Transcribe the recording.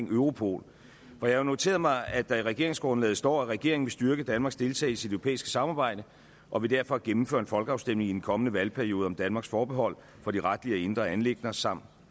europol jeg har noteret mig at der i regeringsgrundlaget står regeringen vil styrke danmarks deltagelse i det europæiske samarbejde og vil derfor gennemføre en folkeafstemning i den kommende valgperiode om danmarks forbehold for de retlige og indre anliggende samt